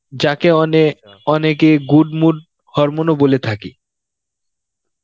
যাকে অনে~ অনেকে good mood hormone ও বলে থাকি